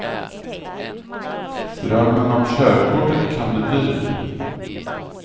Drömmen om körkortet kan bli dyr.